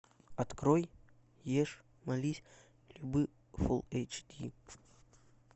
открой ешь молись люби фул эйч ди